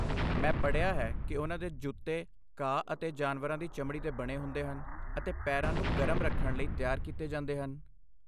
ਮੈਂ ਪੜ੍ਹਿਆ ਹੈ ਕਿ ਉਨ੍ਹਾਂ ਦੇ ਜੁੱਤੇ ਘਾਹ ਅਤੇ ਜਾਨਵਰਾਂ ਦੀ ਚਮੜੀ ਦੇ ਬਣੇ ਹੁੰਦੇ ਹਨ ਅਤੇ ਪੈਰਾਂ ਨੂੰ ਗਰਮ ਰੱਖਣ ਲਈ ਤਿਆਰ ਕੀਤੇ ਜਾਂਦੇ ਹਨ।